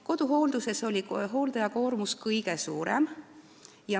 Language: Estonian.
Koduhoolduses oli hooldaja koormus meil kõige suurem.